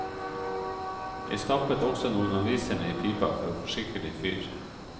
Jeg stappet også noen aviser ned i pipa, for å få skikkelig fyr.